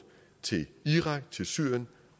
til irak til syrien